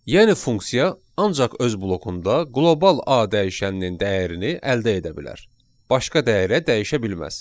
Yəni funksiya ancaq öz blokunda qlobal A dəyişəninin dəyərini əldə edə bilər, başqa dəyərə dəyişə bilməz.